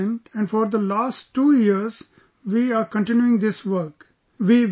We go to the patient and for the last two years we are continuing this work